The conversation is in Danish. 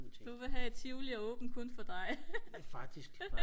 du vil have at tivoli er åben kun for dig